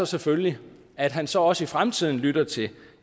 selvfølgelig at han så også i fremtiden lytter til